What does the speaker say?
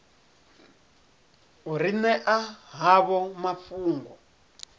u ri ṅea havho mafhungo